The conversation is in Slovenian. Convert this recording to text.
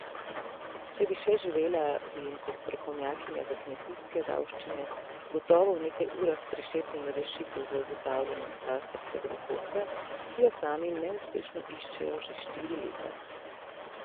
Če bi še živela, bi jim kot strokovnjakinja za kmetijske davščine gotovo v nekaj urah prišepnila rešitev za ugotavljanje katastrskega dohodka, ki jo sami neuspešno iščejo že štiri leta.